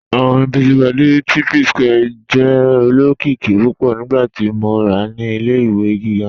Ọ̀rin Busy Body ti Psquare jẹ́ olokiki púpọ̀ nígbàtí mó wà ní ilẹ̀-ìwé gígá.